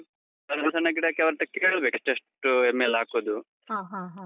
ಹ ಹ ಹ ಹ.